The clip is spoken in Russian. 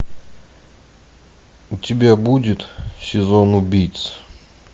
у тебя будет сезон убийц